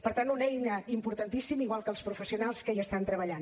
per tant una eina importantíssima igual que els professionals que hi estan treballant